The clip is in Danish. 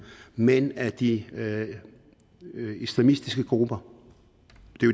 men af de islamistiske grupper